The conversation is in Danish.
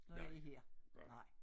Når jeg er her nej